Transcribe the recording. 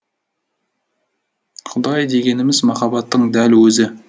құдай дегеніміз махаббаттың дәл өзі